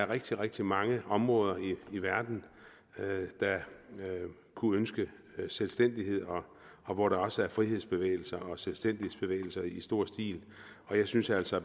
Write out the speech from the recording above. rigtig rigtig mange områder i verden der kunne ønske selvstændighed og hvor der også er frihedsbevægelser og selvstændighedsbevægelser i stor stil og jeg synes altså